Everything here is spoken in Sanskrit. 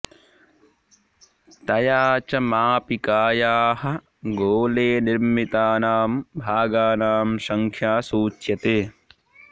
तया च मापिकायाः गोले निर्मितानां भागानां संख्या सूच्यते